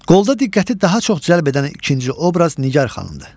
Qolda diqqəti daha çox cəlb edən ikinci obraz Nigar xanımdır.